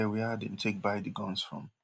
e no clear wia dem take buy di guns from